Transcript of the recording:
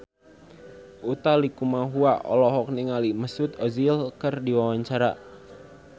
Utha Likumahua olohok ningali Mesut Ozil keur diwawancara